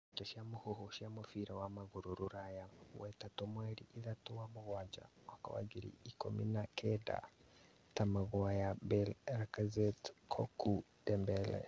Ndeto cia mũhuhu cia mũbira wa magũrũ Rũraya wetatũ mweri ithatũ wa mũgwanja mwaka wa ngiri igĩrĩ ikũmi na kenda athaki ta Maguire, Bale, Lacazette, Cocu, Dembele